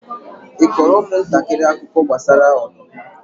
ị kọọrọ ụmụntakịrị akụkọ gbasara ọdụm?